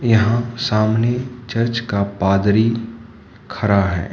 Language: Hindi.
यहां सामने चर्च का पादरी खड़ा है।